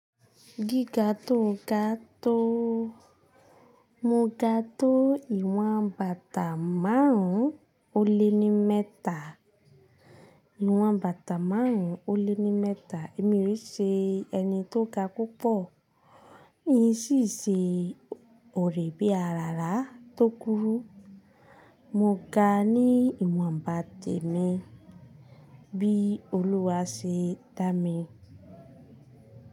Gíga tó ga tó. Mo ga tó iwọn bàtà márùn-ún ó lé ní mẹ́ta. Ìwọn bàtà márùn-ún ó lé ní mẹ́ta. Èmi ò ṣe ẹni tó ga púpọ̀, èyí sì ṣe òrè bí àràrá tó kúrú. Mo ga ní ìwọn bàtà mi bí Olúwa ṣe dá mi.